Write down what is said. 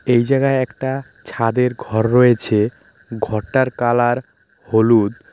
এই জায়গায় একটা ছাদের ঘর রয়েছে ঘরটার কালার হলুদ.